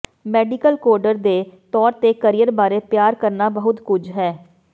medical coder ਦੇ ਤੌਰ ਤੇ ਕਰੀਅਰ ਬਾਰੇ ਪਿਆਰ ਕਰਨਾ ਬਹੁਤ ਕੁਝ ਹੈ